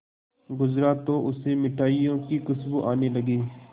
गुजरा तो उसे मिठाइयों की खुशबू आने लगी